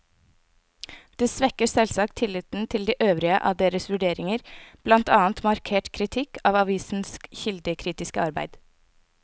Det svekker selvsagt tilliten til de øvrige av deres vurderinger, blant annet markert kritikk av avisenes kildekritiske arbeid.